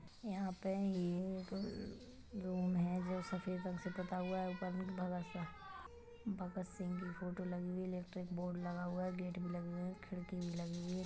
यहाँ पे ये एक रूम है जो सफेद रंग से पुता हुआ है ऊपर में भगत सा भगत सिंह की फोटो लगी हुई है इलेक्ट्रिक बोर्ड लगा हुआ है गेट भी लगी हुई है खिड़की भी लगी हुई है।